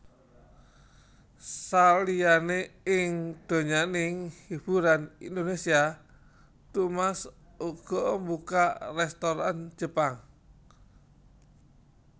Saliyané ing donyaning hiburan Indonésia Thomas uga mbukak rèstoran Jepang